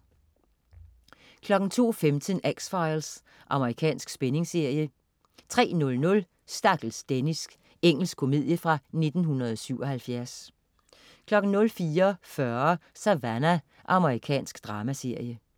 02.15 X-Files. Amerikansk spændingsserie 03.00 Stakkels Dennis. Engelsk komedie fra 1977 04.40 Savannah. Amerikansk dramaserie